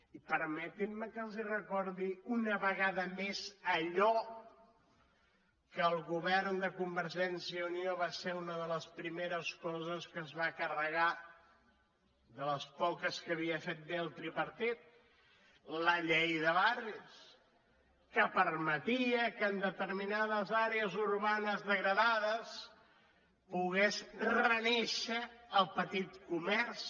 i permetin me que els recordi una vegada més allò que el govern de convergència i unió va ser una de les primeres coses que es va carregar de les poques que havia fet bé el tripartit la llei de barris que permetia que en determinades àrees urbanes degradades hi pogués renéixer el petit comerç